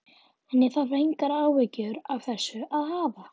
En ég þarf engar áhyggjur af þessu að hafa.